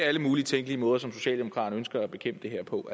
alle mulige tænkelige måder som socialdemokraterne ønsker at bekæmpe det her på